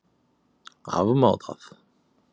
Afmá það?